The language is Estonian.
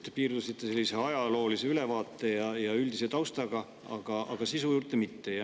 Te piirdusite sellise ajaloolise ülevaate ja üldise taustaga, aga sisu juurde ei jõudnud.